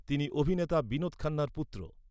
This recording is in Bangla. তিনি অভিনেতা বিনোদ খান্নার পুত্র।